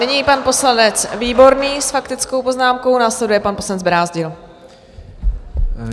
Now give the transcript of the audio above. Nyní pan poslanec Výborný s faktickou poznámkou, následuje pan poslanec Brázdil.